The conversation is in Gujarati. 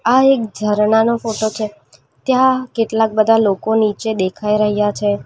આ એક જરનાનો ફોટો છે ત્યાં કેટલાક બધા લોકો નીચે દેખાઈ રહ્યા છે.